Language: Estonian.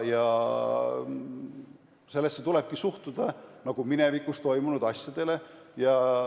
Nendesse teemadesse tulebki suhtuda kui minevikus toimunud asjadesse.